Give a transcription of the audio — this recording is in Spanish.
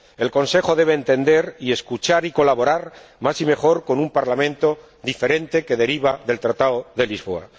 El Consejo debe entender y escuchar y colaborar más y mejor con un Parlamento diferente que deriva del Tratado de Lisboa.